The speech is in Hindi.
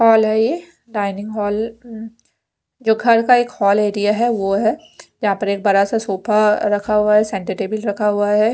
हॉल हे ये डाइनिंग हाल उम जो घर का एक हाल एरिया है वो है यहाँ पर एक बड़ा सा सोपा रखा हुआ हे सेंटर टेबल रखा हुआ है।